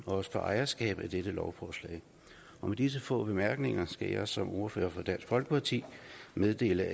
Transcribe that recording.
og få ejerskab til dette lovforslag med disse få bemærkninger skal jeg som ordfører for dansk folkeparti meddele